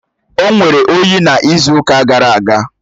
O nwere oyi n’izu ụka gara aga